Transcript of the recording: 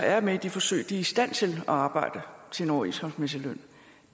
er med i de forsøg er i stand til at arbejde til overenskomstmæssig løn